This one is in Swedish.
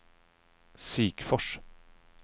Sikfors